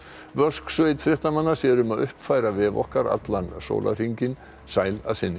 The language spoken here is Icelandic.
vösk sveit fréttamanna sér um að uppfæra vef okkar allan sólarhringinn sæl að sinni